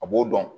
A b'o dɔn